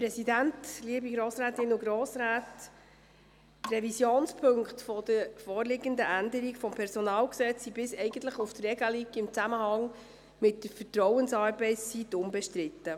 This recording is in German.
Die Revisionspunkte der vorliegenden Änderung des PG sind bis auf die Regelung im Zusammenhang mit der Vertrauensarbeitszeit unbestritten.